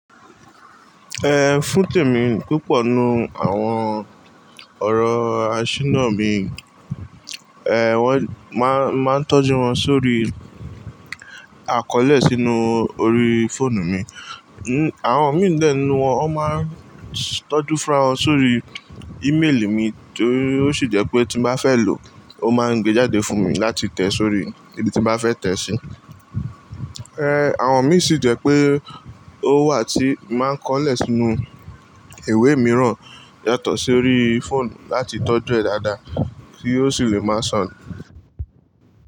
Eh, fún tèmi púpọ̀ nínú àwọn ọ̀rọ̀ aṣínà mi, wọ́n máà ń tọ́jú wọn sórí àkọọ́lẹ̀ sínú orí fóònù mi. Àwọn mí lẹ́nu wọn, wọn máa ń tọ́jú fá wọn sórí íméèlì mi tó sì jẹ́ pé tí mo bá fẹ́ lò ó máa ń gẹ jáde fún mi láti tẹ sórí ibi tí mo bá fẹ́ tẹ sí. Àwọn mí sì jẹ́ pé ó wà tí máa ń kọ́lẹ̀ sínú ìwé mìíràn yàtọ̀ sí orí fóònù láti tọ́jú ẹ̀ dáadáa kí ó sì lè máa sànu.